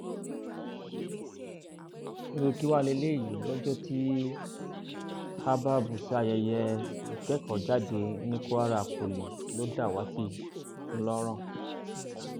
irú kí wàá lélẹyìí lọjọ tí habab ṣayẹyẹ ìkẹkọọjáde ní kwara poli ló dàwátì ńlọrọn